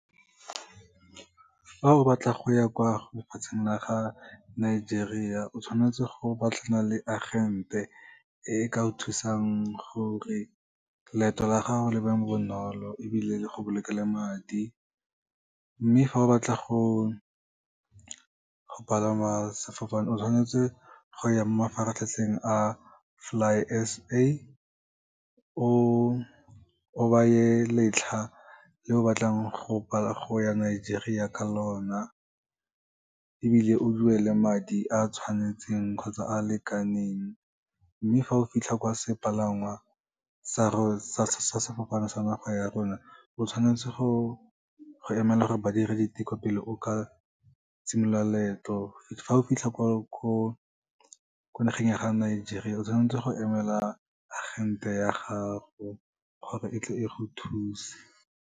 Fa o batla go ya kwa go lefatsheng la ga Nigeria, o tshwanetse go batlana le agente, e ka go thusang gore leeto la gago le be bonolo ebile le go bolokele madi. Mme fa o batla go palama sefofane, o tshwanetse go ya mo mafaratlhatlheng a Fly S_A, o beye letlha le o batlang go ya Nigeria ka lona, ebile o duele madi a tshwanetseng kgotsa a lekaneng. Mme fa o fitlha kwa sepalangwa sa go, sa sefofane sa naga ya rona, o tshwanetse go emela gore ba dire diteko pele o ka simolola leeto. Fa o fitlha ko nageng ya Nigeria, o tshwanetse go emela agente ya gago, gore e tle e go thuse.